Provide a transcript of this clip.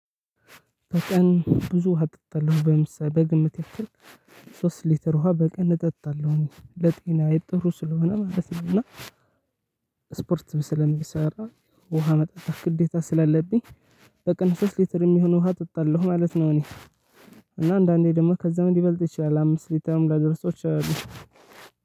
በቀን ብዙ ውሃ እጠጣለሁ ለምሳሌ በግምት ያክል ሶስት ሊትር ውሃ በቀን እጠጣለሁ ለጤናዬ ጥሩ ስለሆነ ማለት ነው። እና ስፖርት ስለምሰራ ውሃ መጠጣት ግዴታ ስላለብኝ። በቀን ሶስት ሊትር የሚሆን ውሃ እጠጣለሁ ማለት ነው። እኔ እና አንዳንዴ ደግሞ ከዛ ምን ሊበልጥ ይችላል። አምስት ሊተርም ላደርሰው እችላለሁ።